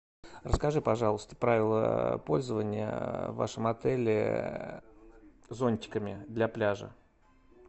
расскажи пожалуйста правила пользования в вашем отеле зонтиками для пляжа